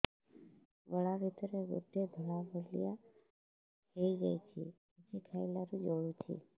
ଗଳା ଭିତରେ ଗୋଟେ ଧଳା ଭଳିଆ ହେଇ ଯାଇଛି କିଛି ଖାଇଲାରୁ ଜଳୁଛି